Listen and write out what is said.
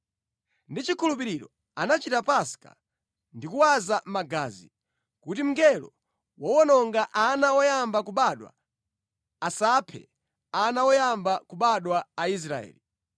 Ndi chikhulupiriro anachita Paska ndi kuwaza magazi, kuti mngelo wowononga ana oyamba kubadwa asaphe ana oyamba kubadwa a Aisraeli.